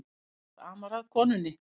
Ekkert amar að konunni